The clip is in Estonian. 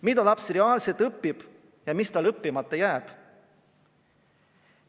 Mida laps reaalselt õpib ja mis tal õppimata jääb?